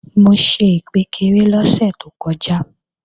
Mo ṣe ìkpékeré lọ́sẹ̀ tó kọjá